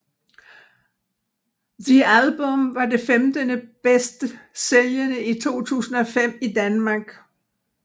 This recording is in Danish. The Album var det femtende bedst sælgende i 2005 i Danmark